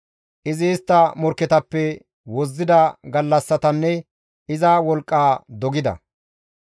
Izi istta morkketappe wozzida gallassatanne iza wolqqaa dogida.